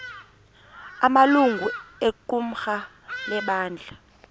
amalungu equmrhu lebandla